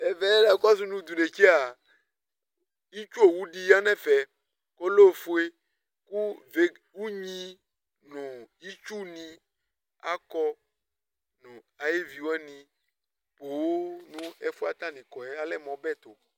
ɛvɛ na kɔsu no t'inetse yɛ itsu owu di ya n'ɛfɛ kò ɔlɛ ofue kò veg unyi no itsu ni akɔ no ayi evi wani ponŋ no ɛfu yɛ atani kɔ yɛ alɛ mo ɔbɛ to